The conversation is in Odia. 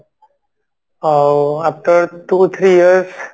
ଅ after two three years